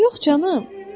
Yox canım.